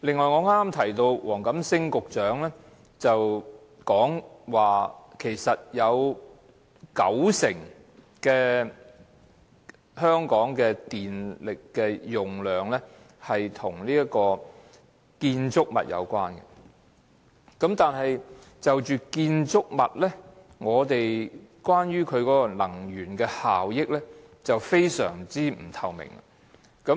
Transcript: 我剛才提到黃錦星局長表示，香港有九成耗電量與建築物有關，但關於建築物的能源效益卻非常不透明。